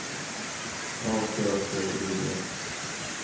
A K T I E